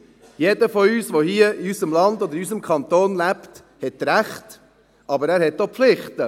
Jeder, der hier in unserem Land oder in unserem Kanton lebt, hat Rechte, aber er hat auch Pflichten.